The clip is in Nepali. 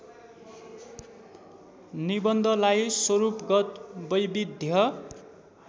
निबन्धलाई स्वरूपगत वैविध्य